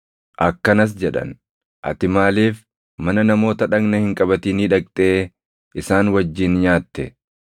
akkanas jedhan; “Ati maaliif mana namoota dhagna hin qabatinii dhaqxee isaan wajjin nyaatte?”